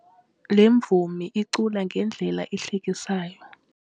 Le mvumi icula ngendlela ehlekisayo.